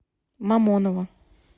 мамоново